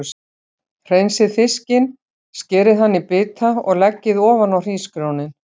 Hreinsið fiskinn, skerið hann í bita og leggið ofan á hrísgrjónin.